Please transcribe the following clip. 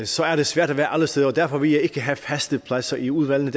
så er det svært at være alle steder derfor vil jeg ikke have faste pladser i udvalgene